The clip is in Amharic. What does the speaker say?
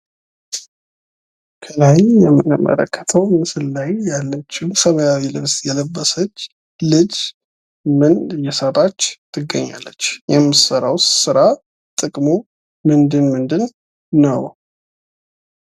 ከላይ በምንመለከተው ምስል ላይ ያለች ሰማያዊ ልብስ የለበሰች ልጅ ምን እየሰራች ትገኛለች? የምትሰራውስ ስራ ጥቅሙ ምንድን ምንድን ነው?